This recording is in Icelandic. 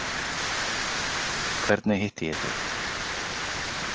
Hvernig hitti ég þig?